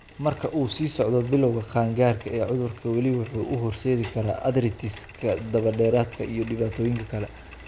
Marka uu sii socdo, bilawga qaangaarka ee cudurka weli wuxuu u horseedi karaa arthritis-ka daba-dheeraada iyo dhibaatooyin kale.